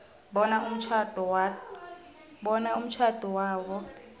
bona umtjhado wabo